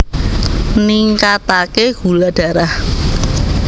Ningkataké gula darah